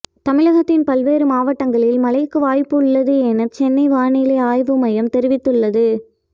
தமிழகத்தின் பல்வேறு மாவட்டங்களில் மழைக்கு வாய்ப்பு உள்ளது என சென்னை வானிலை ஆய்வு மையம் தெரிவித்துள்ளது